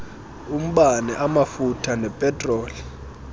umbane amafutha nepetroli